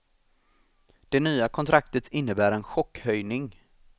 Det nya kontraktet innebär en chockhöjning.